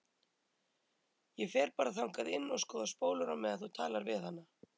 Ég fer bara þangað inn og skoða spólur á meðan þú talar við hana.